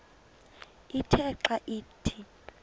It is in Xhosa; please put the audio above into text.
ithe xa ithi